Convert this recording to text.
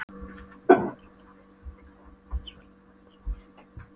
En umfram allt er hún gleðigjafi í svellandi trega sínum.